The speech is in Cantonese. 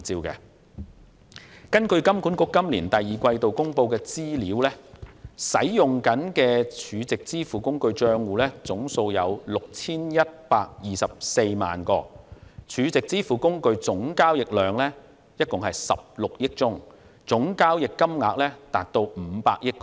根據金管局今年第二季度公布的資料，使用中的 SVF 帳戶總數為 6,124 萬個 ，SVF 總交易量為16億宗，總交易金額達500億港元。